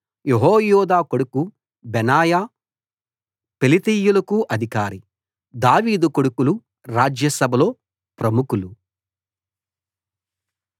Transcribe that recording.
యెహోయాదా కొడుకు బెనాయా కెరేతీయులకు పెలేతీయులకు అధికారి దావీదు కొడుకులు రాజ్య సభలో ప్రముఖులు